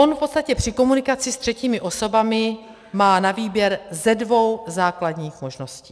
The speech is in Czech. On v podstatě při komunikaci se třetími osobami má na výběr ze dvou základních možností.